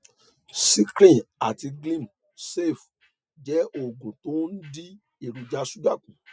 secrin àti glim save jẹ oògùn tó ń dín èròjà ṣúgà kù